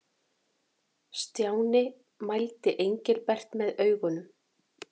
Stjáni mældi Engilbert með augunum.